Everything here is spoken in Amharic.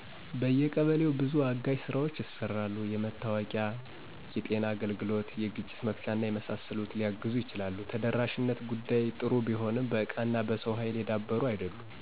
በየቀበሌው በዙ አጋዥ ስራዎች ይሰራሉ። የመታወቂያ፣ የጤና አገልግሎት፣ የግጭት መፍቻና የመሳሰሉት ሊያግዙ ይችላሉ። የተደራሽነት ጉዳይ ጥሩ ቢሆንም በእቃና በሰው ሀይል የዳበሩ አይደሉም።